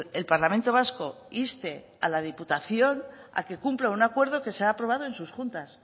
el parlamento vasco inste a la diputación a que cumpla un acuerdo que se ha aprobado en sus juntas